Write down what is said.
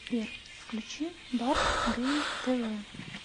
сбер включи барт гейм тэ вэ